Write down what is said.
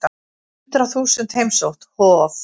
Hundrað þúsund heimsótt Hof